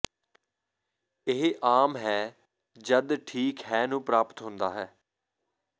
ਇਹ ਆਮ ਹੈ ਜਦ ਠੀਕ ਹੈ ਨੂੰ ਪ੍ਰਾਪਤ ਹੁੰਦਾ ਹੈ